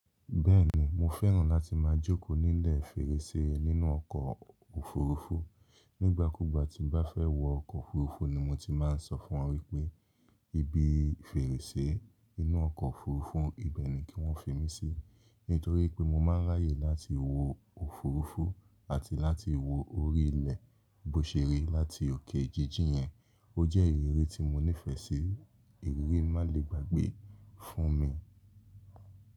Bẹ́ẹ̀ni, mo fẹ́ràn láti máa jókòó nílẹ̀ fèrèsé nínú ọkọ̀ òfurufú. Nígbà kúgbà tí n bá fẹ́ wọ ọkọ̀ òfurufú ni mo ti máa ń sọ fún wọ́n wípé ibi fèrèsé inú ọkọ̀ òfurufú, ibẹ̀ ni kí wọ́n fi mí sí. Nítorí pé mo máa ń ráyè láti wo òfurufú àti láti wo orí ilẹ̀ bó ṣe rí láti òkè jíjìn yẹn. Ó jẹ́ ìrírí tí mo nífẹ̀ẹ́ sí, ìrírí má le gbàgbé fún mi.